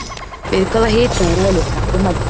Við hvaða hita er eðlismassi mældur?